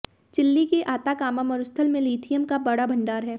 chilli के Atacama मरुस्थल में लीथियम का बड़ा भंडार है